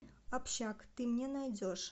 общак ты мне найдешь